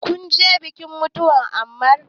Kunje bikin mutuwan Ammar?